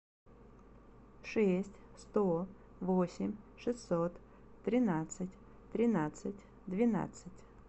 шесть сто восемь шестьсот тринадцать тринадцать двенадцать